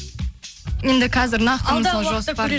енді қазір нақты мысалы жоспар